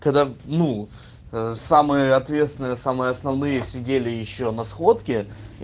ну самое ответственное самые основные сидели ещё на сходке